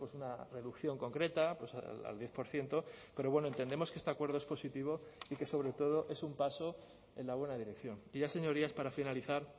una reducción concreta al diez por ciento pero bueno entendemos que este acuerdo es positivo y que sobre todo es un paso en la buena dirección y ya señorías para finalizar